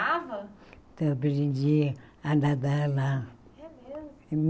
então eu aprendi a nadar lá. É mesmo